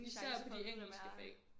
Især de engelske fag